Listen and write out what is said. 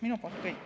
Minu poolt kõik.